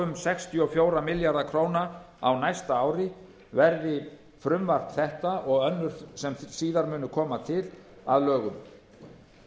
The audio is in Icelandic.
um sextíu og fjóra milljarða króna á næsta ári verði frumvarp þetta og önnur sem síðar munu koma til að lögum